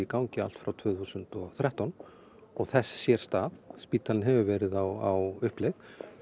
uppbyggingarfasi allt frá tvö þúsund og þrettán og þess sér stað spítalinn hefur verið á uppleið